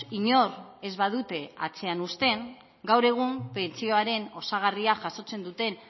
inor ez badute atzean uzten gaur egun pentsioaren osagarria jasotzen duten